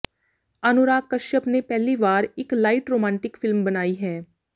ਅਨੁਰਾਗ ਕਸ਼ਅਪ ਨੇ ਪਹਿਲੀ ਵਾਰ ਇੱਕ ਲਾਈਟ ਰੋਮਾਂਟਿਕ ਫਿਲਮ ਬਣਾਈ ਹੈ